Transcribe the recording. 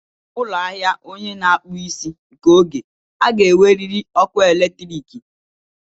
Ụlọ ahịa onye na akpu isi nke oge a ga-enwerịrị ọkụ eletriiki.